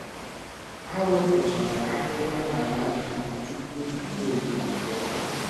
Ha wepụchara ahịhịa n’ala ji tupu mmiri ọzọ abịa.